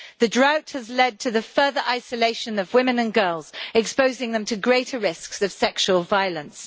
The drought has led to the further isolation of women and girls, exposing them to greater risks of sexual violence.